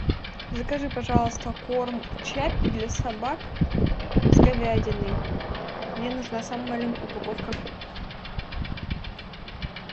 закажи пожалуйста корм чаппи для собак с говядиной мне нужна самая маленькая упаковка